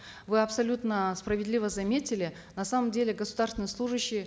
вы абсолютно справедливо заметили на самом деле государственный служащий